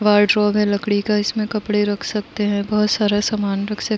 Wardrobe है लकड़ी का। इसमें कपड़े रख सकते हैं। बहोत सारा सामान रख सक --